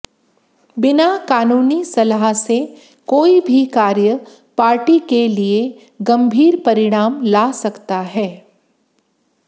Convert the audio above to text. बिना कानूनी सलाह से कोई भी कार्य पार्टी के लिए गंभीर परिणाम ला सकता है